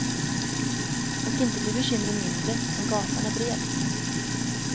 Och inte blir bekymren mindre om gatan är bred.